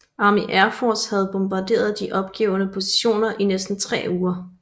Army Air Force havde bombarderet de opgivede positioner i næsten tre uger